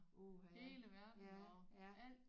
Uh ha ja ja